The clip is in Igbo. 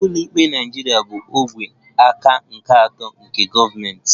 Ụlọikpe Naịjirịa bụ ogwe aka nke atọ nke gọọmentị